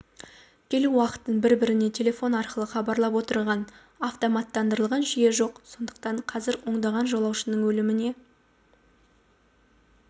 келу уақытын бір-біріне телефон арқылы хабарлап отырған автоматтандырылған жүйе жоқ сондықтан қазір ондаған жолаушының өліміне